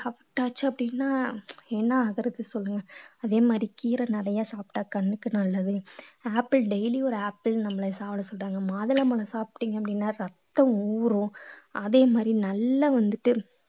affect ஆச்சு அப்படீன்னா ஏன்னா அதே மாதிரி கீரை நிறையா சாப்பிட்டா கண்ணுக்கு நல்லது ஆப்பிள் daily ஒரு ஆப்பிள் நம்மளைய சாப்பிட சொல்றாங்க மாதுளம்பழம் சாப்பிட்டீங்க அப்படின்னா ரத்தம் ஊரும் அதே மாதிரி நல்லா வந்துட்டு